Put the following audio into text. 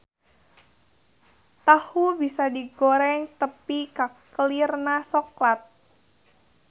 Tahu bisa digoreng tepi ka kelirna soklat.